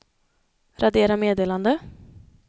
radera meddelande